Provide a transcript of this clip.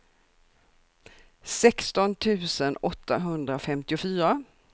sexton tusen åttahundrafemtiofyra